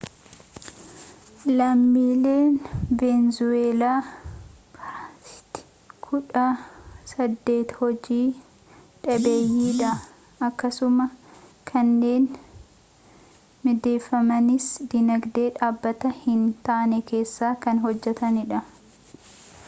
lammiileen veenzuweelaa parsantii kudha saddeet hojii dhabeeyyiidha akkasumas kanneen mindeeffamanis diinagdee dhaabbataa hin taane keessa kan hojjataniidha